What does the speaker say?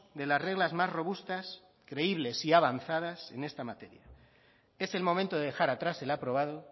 de las reglas más robustas creíbles y avanzadas en esta materia es el momento de dejar atrás el aprobado